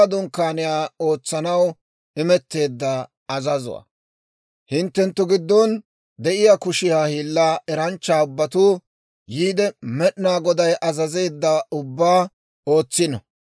«Hinttenttu giddon de'iyaa kushiyaa hiillaa eranchcha ubbatuu yiide, Med'inaa Goday azazeedda ubbaa ootsino: